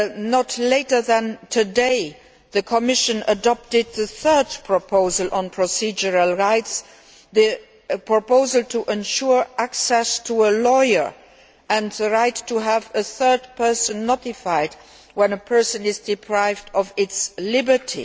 Not later than today, the Commission adopted the third proposal on procedural rights, the proposal to ensure access to a lawyer and the right to have a third person notified when a person is deprived of his or her liberty.